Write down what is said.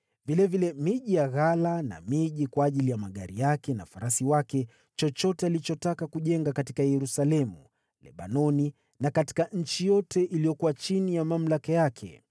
vilevile miji ya ghala na miji kwa ajili ya magari yake na kwa ajili ya farasi wake: chochote alichotaka kujenga katika Yerusalemu, katika Lebanoni, na katika eneo yote aliyotawala.